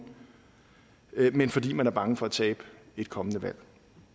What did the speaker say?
men fordi man er bange for at tabe et kommende valg